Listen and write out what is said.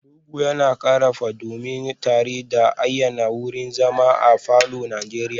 Rugu yana ƙara dumi tare da ayyana wurin zama a falor na Najeriya